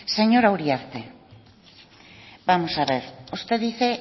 señora uriarte vamos a ver usted dice